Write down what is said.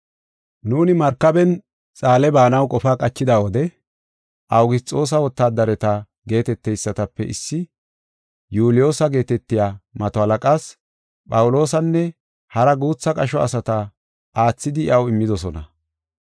Nuuni markaben Xaale baanaw qachida wode Awugisxoosa wotaadareta geeteteysatape issi Yuuliyoosa geetetiya mato halaqaas Phawuloosanne hara guutha qasho asata aathidi iyaw immidosona.